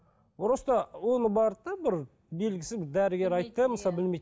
просто оны барды да бұрын белгісіз дәрігер айтты да мысалы білмейді